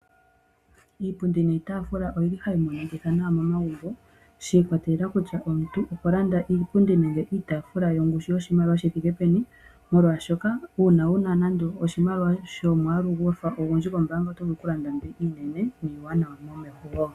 Iipundi niitaafula oyili hayi monikitha nawa momagumbo shi ikwatelela kutya omuntu okwa landa iipundi niitaafula yongushu yoshimaliwa shi thike peni molwaashoka uuna wuna nande oshimaliwa shomwaalu gwa fa ogundji kombaanga oto vulu okulanda mbi iinene niiwanawa momeho woo.